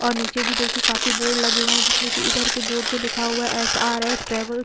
और नीचे भी देखे काफी बोर्ड लगे हुए हैं जिसमें की इधर के बोर्ड पर लिखा हुआ एस आर एस ट्रैवल --